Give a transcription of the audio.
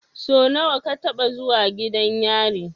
Sau nawa ka taɓa zuwa gidan yari?